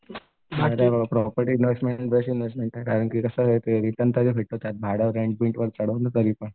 Property investment best investment आहे कारण की कसं आहे ते भाडं रेंट बिंटवर चढवलं तरीपण.